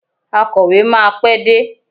Akọ̀wé máa pé dé.